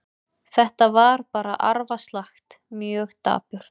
Þetta var bara arfaslakt, mjög dapurt.